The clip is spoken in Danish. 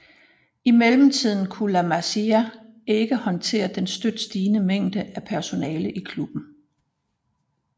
Imidlertid kunne La Masia ikke håndtere den støt stigende mængde af personale i klubben